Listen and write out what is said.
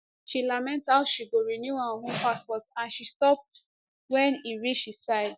she lament how she go renew her own passport and she stop wen e reach di side